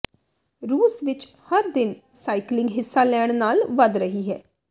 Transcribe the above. ਰੂਸ ਵਿਚ ਹਰ ਦਿਨ ਸਾਈਕਲਿੰਗ ਹਿੱਸਾ ਲੈਣ ਨਾਲ ਵਧ ਰਹੀ ਹੈ